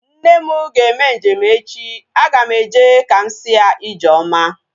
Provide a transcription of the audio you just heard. Nne m ga-eme njem echi. Aga m eje ka m si ya ijeoma